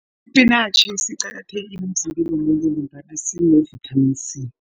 Ispinatjhi siqakathekile emzimbeni womuntu ngombana sine-vitamin C.